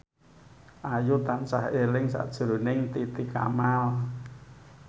Ayu tansah eling sakjroning Titi Kamal